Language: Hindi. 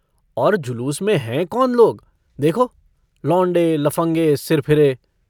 और जुलूस में हैं कौन लोग? देखो - लौंडे लफ़ंगे सिरफिरे।